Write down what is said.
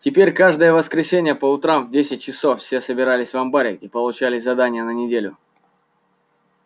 теперь каждое воскресенье по утрам в десять часов все собирались в амбаре и получали задания на неделю